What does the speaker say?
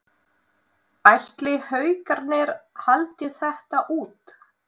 Ætli Haukarnir haldi þetta út?